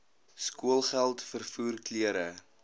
skoolgeld vervoer klere